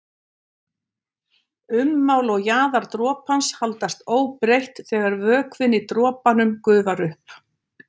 Ummál og jaðar dropans haldast óbreytt þegar vökvinn í dropanum gufar upp.